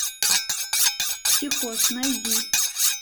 психоз найди